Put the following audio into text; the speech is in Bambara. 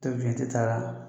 t'a la